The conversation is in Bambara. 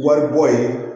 Wari bɔ ye